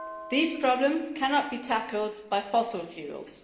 These problems cannot be tackled by fossil fuels.